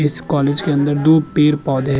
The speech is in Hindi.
इस कॉलेज के अंदर दो पेड़-पौधे --